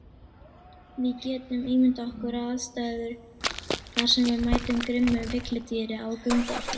Við getum ímyndað okkar aðstæður þar sem við mætum grimmu villidýri á göngu okkar.